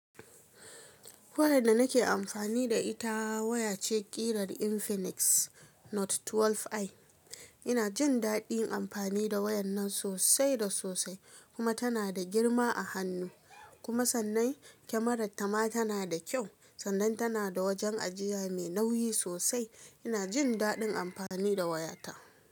Wayar da nake amfani da ita waya ce ƙirar Infinix Note 12i. Ina jin daɗin amfani da wayar nan sosai da sosai, kuma tana da girma a hannu. Kuma sannan kyamarar ta ma tanada kyau. Sannan tana da wajen ajiya mai nauyi sosai. Ina jin daɗin amfani da waya ta.